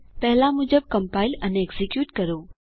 પેહલા મુજબ કમ્પાઈલ અને એક્ઝીક્યુટ કરો